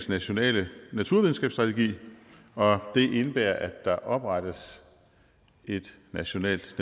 nationale naturvidenskabsstrategi og det indebærer at der oprettes et nationalt